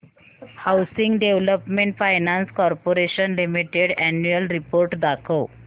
housing development finance corporation limited annual report दाखव